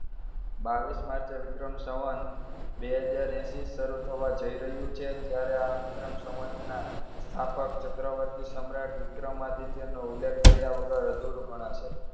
બાવીસ માર્ચે વિક્રમ સંવંત બે હજાર એંશી શરૂ થવા જઈ રહ્યું છે, અત્યારે આ વિક્રમ સંવંતના સ્થાપક ચક્રવર્તી સમ્રાટ વિક્રમાદિત્યનો ઉલ્લેખ કર્યા વગર અધૂરું ગણાશે.